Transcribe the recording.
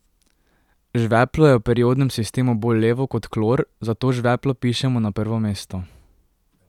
Žveplo je v periodnem sistemu bolj levo kot klor, zato žveplo pišemo na prvo mesto.